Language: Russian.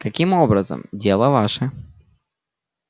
каким образом дело ваше